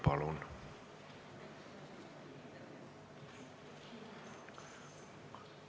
Palun!